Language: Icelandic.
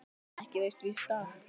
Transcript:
Ekki veitti víst af.